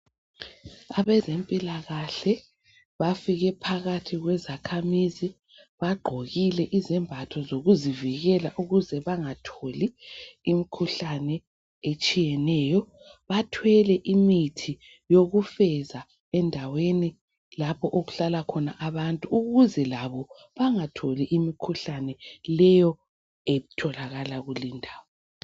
Abezempilakahle bafike phakathi kwezakhamizi bagqokile izembatho zokuzivikela ukuze bangatholi imkhuhlane etshiyeneyo. Bathwele imithi yokufeza endaweni lapho okuhlala khona abantu ukuze labo bangatholi imkhuhlane leyo etholakala kulindawo.